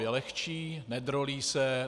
Je lehčí, nedrolí se.